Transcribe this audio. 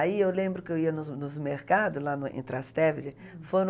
Aí eu lembro que eu ia nos nos mercados, lá no em Trastevere, foi no